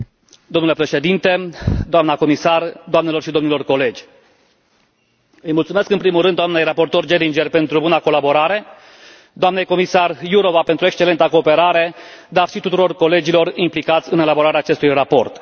Domnule președinte, doamnă comisar, doamnelor și domnilor colegi, îi mulțumesc în primul rând doamnei raportor Geringer de Oedenberg pentru buna colaborare, doamnei comisar Jourová pentru excelenta cooperare, dar și tuturor colegilor implicați în elaborarea acestui raport.